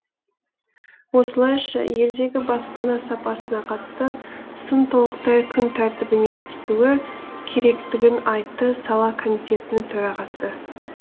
осылайша елдегі баспана сапасына қатысты сын толықтай күн тәртібінен түсуі керектігін айтты сала комитетінің төрағасы